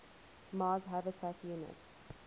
mars habitat unit